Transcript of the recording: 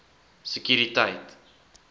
sekuriteit